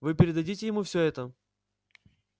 вы передадите ему всё это